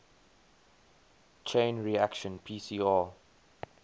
chain reaction pcr